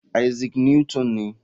Isaac Newton ne.